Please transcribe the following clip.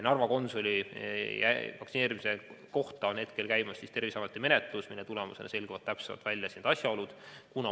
Narva konsuli vaktsineerimise kohta on hetkel käimas Terviseameti menetlus, mille tulemusena selgitatakse välja täpsemad asjaolud.